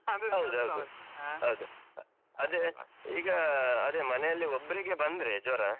ಅದೆ ಈಗಾ, ಅದೆ ಮನೆಲ್ಲಿ ಒಬ್ಬ್ರಿಗೆ ಬಂದ್ರೆ ಜ್ವರ.